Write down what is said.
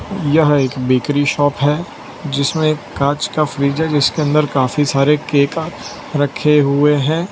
यह एक bakery shop है जिसमें कांच का फ्रिज है जिसके अंदर काफी सारे केका रखे हुए हैं।